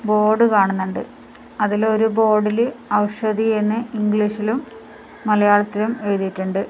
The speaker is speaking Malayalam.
ബോർഡ് കാണുന്നുണ്ട് അതിൽ ഒരു ബോർഡിൽ ഔഷധി എന്ന് ഇംഗ്ലീഷിലും മലയാളത്തിലും എഴുതിയിട്ടുണ്ട്.